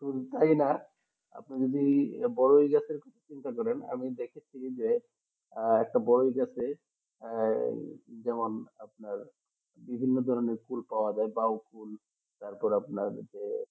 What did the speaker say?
ফুল পাই আপনি যদি বড় গাছের পারেন আমি দেখেছি যে একটা বড় গাছের আহ যেমন আপনার বিভিন্ন ধরনের ফুল পাওয়া যায় লাউফুল তারপর যে